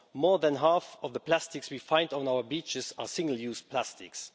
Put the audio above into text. More than half of the plastics we find on our beaches are single use plastics.